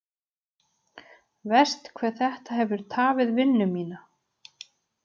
Verst hve þetta hefur tafið vinnu mína.